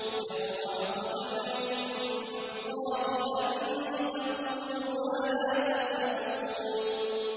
كَبُرَ مَقْتًا عِندَ اللَّهِ أَن تَقُولُوا مَا لَا تَفْعَلُونَ